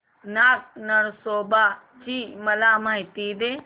नाग नरसोबा ची मला माहिती दे